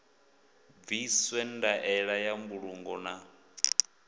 bviswe ndaela ya mbulungo na